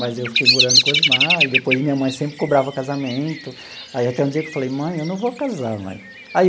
Mas eu fiquei morando com o Osmar, e depois minha mãe sempre cobrava casamento, aí até o dia que eu falei, mãe, eu não vou casar, mãe.